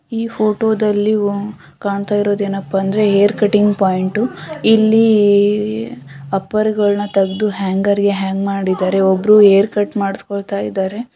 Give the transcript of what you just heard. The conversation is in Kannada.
ಈ ಫೋಟೋ ದಲ್ಲಿ ಕಾಣ್ತಾ ಇರೋದು ಏನಪ್ಪಾ ಅಂದ್ರೆ ಹೇರ್ ಕಟಿಂಗ್ ಪಾಯಿಂಟ್ ಇಲ್ಲಿ ಅಪ್ಪರ ಗಳನ್ನು ತೆಗೆದು ಹ್ಯಾಂಗರ್ ಗೆ ಹ್ಯಾಂಗ್ ಮಾಡಿದರೆ ಒಬ್ಬರು ಹೇರ್ ಕಟ್ ಮಾಡಿಸಿಕೊಳ್ಳುತ್ತ ಇದ್ದಾರೆ .